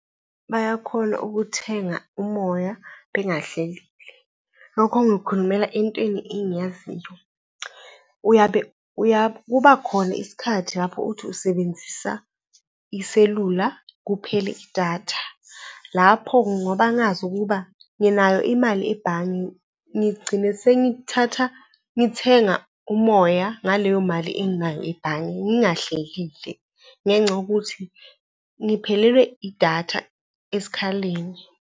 Bayakhona ukuthenga umoya bengahlelile. Lokho ngikukhulumela entweni engiyaziyo. Uyabe kuba khona isikhathi lapho uthi usebenzisa iselula kuphele idatha, lapho ngoba ngazi ukuba nginayo imali ebhange, ngigcine sengithatha ngithenga umoya ngaleyo mali enginayo ebhange ngingahlelile ngenxa yokuthi ngiphelelwe idatha esikhaleni.